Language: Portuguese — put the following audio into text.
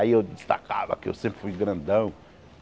Aí eu destacava que eu sempre fui grandão.